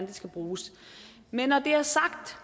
de skal bruges men når det er sagt